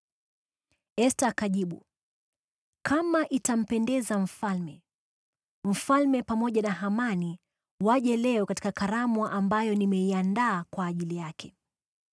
Esta akajibu, “Kama itampendeza mfalme, mfalme pamoja na Hamani waje leo katika karamu ambayo nimeiandaa kwa ajili yake.”